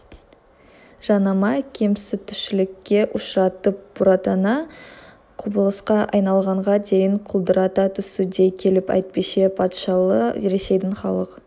жанама кемсітушілікке ұшыратып бұратана құбылысқа айналғанға дейін құлдырата түсу дей келіп әйтпесе патшалы ресейдің халық